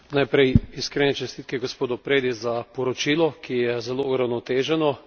Najprej iskrene čestitke gospodu Predi za poročilo, ki je zelo uravnoteženo.